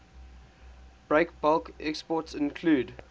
breakbulk exports include